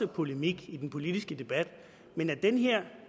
polemik i den politiske debat men den her